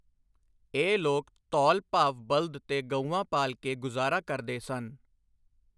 ਇਹ ਲੋਕ ਧੌਲ ਭਾਵ ਬਲਦ ਤੇ ਗਊਆਂ ਪਾਲ ਕੇ ਗੁਜ਼ਾਰਾ ਕਰਦੇ ਸਨ।